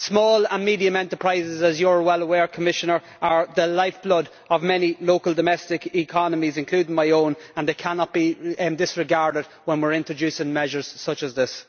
Small and medium enterprises, as you are well aware, Commissioner, are the lifeblood of many local domestic economies including my own, and they cannot be disregarded when we are introducing measures such as this.